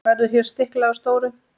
Verður hér stiklað á stóru.